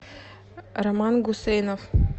роман гусейнов